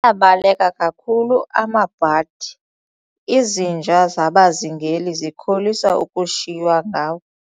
Abaleka kakhulu amabhadi, izinja zabazingeli zikholisa ukushiywa ngawo.